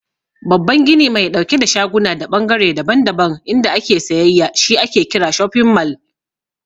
Babban gini mai ɗauke da shaguna da ɓangare daban-daban inda ake sayayya shi ake kira "shofin mall".